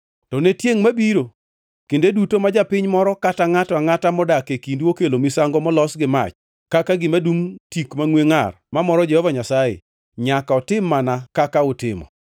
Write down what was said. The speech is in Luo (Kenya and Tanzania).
To ne tiengʼ mabiro, kinde duto ma japiny moro kata ngʼato angʼata modak e kindu okelo misango molos gi mach kaka gima dungʼ tik mangʼwe ngʼar mamoro Jehova Nyasaye, nyaka otim mana kaka utimo.